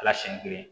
Ala siɲɛ geren